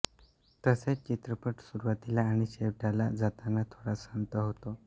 तसेच चित्रपट सुरुवातीला आणि शेवटाला जाताना थोडा संथ होतो